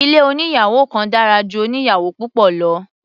Ilé oníyàwò kan dára ju oníyàwò púpọ̀ lọ.